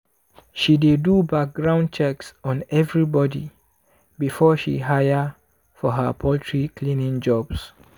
she dey do background checks on everybody before she hire for her poultry cleaning jobs.